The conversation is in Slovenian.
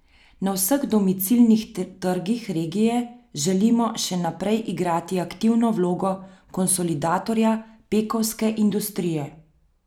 Na vseh domicilnih trgih regije želimo še naprej igrati aktivno vlogo konsolidatorja pekovske industrije.